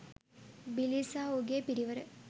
බිලී සහ ඔහුගේ පිරිවර